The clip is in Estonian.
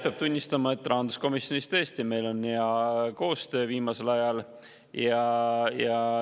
Peab tunnistama, et rahanduskomisjonis on meil tõesti hea koostöö viimasel ajal.